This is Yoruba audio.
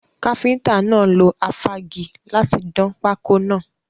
Káfíntà náà lo afági láti dán pákọ́ náà.